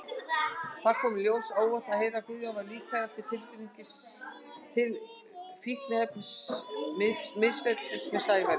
Það kom mér á óvart að heyra að Guðjón væri líklegur til fíkniefnamisferlis með Sævari.